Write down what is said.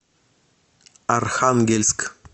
архангельск